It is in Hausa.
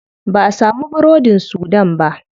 Ba'a samu burodin sudan ba.